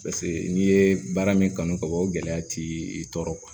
Paseke n'i ye baara min kanu ka bɔ o gɛlɛya t'i i tɔɔrɔ